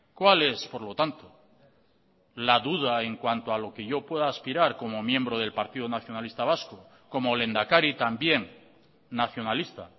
cuál es por lo tanto la duda en cuanto a lo que yo pueda aspirar como miembro del partido nacionalista vasco como lehendakari también nacionalista